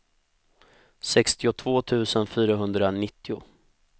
sextiotvå tusen fyrahundranittio